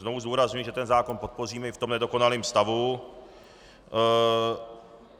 Znovu zdůrazňuji, že ten zákon podpořím i v tom nedokonalém stavu.